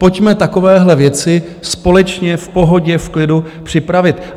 Pojďme takovéhle věci společně v pohodě, v klidu připravit.